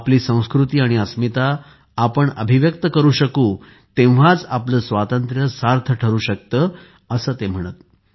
आपली संस्कृती आणि अस्मिता आपण अभिव्यक्तकरू शकू तेव्हाच आपले आपले स्वातंत्र्यसार्थ ठरू शकते असे ते म्हणत